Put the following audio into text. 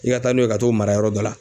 I ka taa n'o ye ka t'o mara yɔrɔ dɔ la.